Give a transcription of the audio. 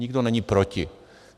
Nikdo není proti.